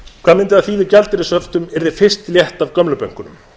hvað mundi það þýða ef gjaldeyrishöftum yrði fyrst létt af gömlu bönkunum